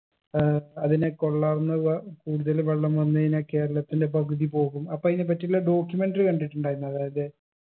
ഏർ അതിനെ കൊള്ളാവുന്നക കൂടുതല് വെള്ളം വന്ന് കഴിഞ്ഞാ കേരളത്തിലെ പകുതി പോകും അപ്പൊ അയിനെപ്പറ്റിയുള്ള documentary കണ്ടിട്ടുണ്ടായിരുന്നു അതായത്